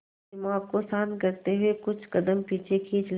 और दिमाग को शांत करते हुए कुछ कदम पीछे खींच लें